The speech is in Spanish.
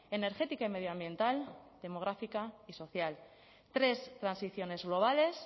energética y medioambiental demográfica y social tres transiciones globales